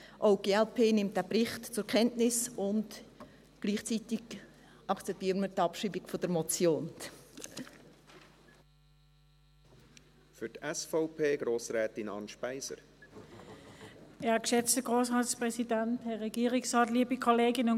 Auch die glp nimmt diesen Bericht zur Kenntnis, und gleichzeitig akzeptieren wir die Abschreibung der Motion .